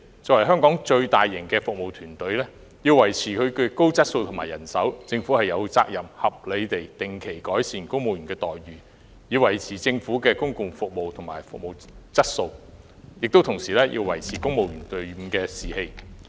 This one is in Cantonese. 作為香港規模最龐大的服務團隊，要維持公務員高質素的服務和充足的人手，政府有責任定期合理地改善公務員的待遇，以維持政府的服務提供和質素，亦同時保持公務員隊伍的士氣。